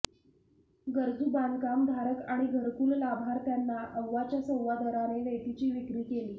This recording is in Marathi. गरजू बांधकामधारक आणि घरकुल लाभार्थ्यांना अव्वाच्या सव्वा दराने रेतीची विक्री केली